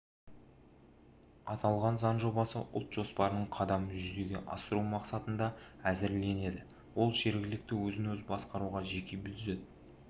аталған заң жобасы ұлт жоспарының қадамын жүзеге асыру мақсатында әзірленді ол жергілікті өзін-өзі басқаруға жеке бюджет